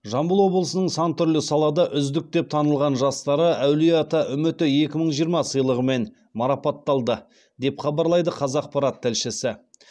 жамбыл облысының сан түрлі салада үздік деп танылған жастары әулиеата үміті екі мыи жиырма сыйлығымен марапатталды деп хабарлайды қазақпарат тілшісі